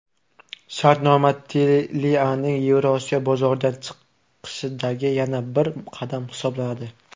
Shartnoma Telia’ning Yevroosiyo bozoridan chiqishidagi yana bir qadam hisoblanadi.